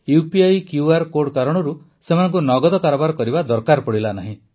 UPI QR code କାରଣରୁ ସେମାନଙ୍କୁ ନଗଦ କାରବାର କରିବା ଦରକାର ପଡ଼ିଲା ନାହିଁ